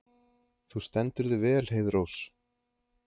Þú stendur þig vel, Heiðrós!